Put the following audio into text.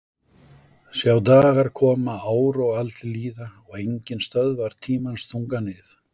Sjá dagar koma ár og aldir líða og enginn stöðvar tímans þunga nið